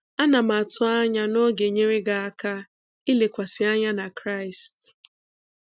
Ana m atụ anya na ọ ga-enyere gị aka ịlekwasị anya na Kraịst.